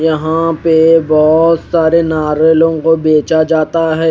यहा पे बहोत सारे नारियलो को बेचा जाता है।